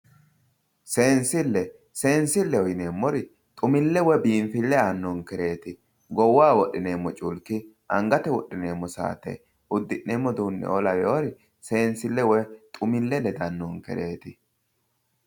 seensille seensilleho yineemmori xumille woy biinfille aannonkereeti goowaho wodhineemmo culki angate wodhineemmo saate uddi'neemmo udiinneoo lawewoori seensile woy xumille ledannonkereeti